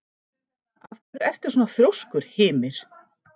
Af hverju ertu svona þrjóskur, Hymir?